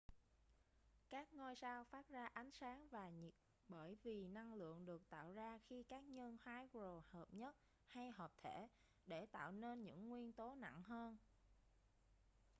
các ngôi sao phát ra ánh sáng và nhiệt bởi vì năng lượng được tạo ra khi các nhân hydro hợp nhất hay hợp thể để tạo nên những nguyên tố nặng hơn